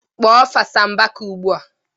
Kpọọ Fasa Mbaka ugbua!